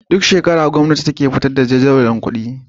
Duk shekara gwamnati take fitar da jadawalin kudi